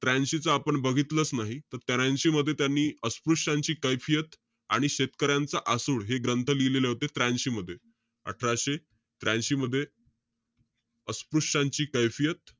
त्र्यांशी च आपण बघितलंच नाही. त त्र्यांशी मध्ये, त्यांनी अस्पृश्यांची कैफियत आणि शेतकऱ्यांचं आसूड हे ग्रंथ लिहिलेले होते, त्र्यांशी मध्ये. अठराशे त्र्यांशी मध्ये अस्पृश्यांची कैफियत,